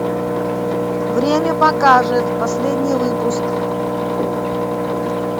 время покажет последний выпуск